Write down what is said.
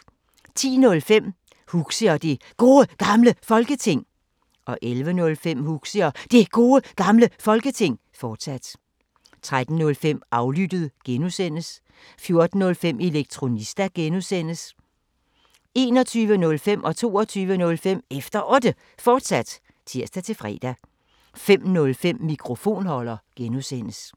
10:05: Huxi og Det Gode Gamle Folketing 11:05: Huxi og Det Gode Gamle Folketing, fortsat 13:05: Aflyttet G) 14:05: Elektronista (G) 21:05: Efter Otte, fortsat (tir-fre) 22:05: Efter Otte, fortsat (tir-fre) 05:05: Mikrofonholder (G)